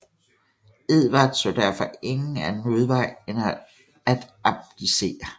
Edvard så derfor ingen anden udvej end at abdicere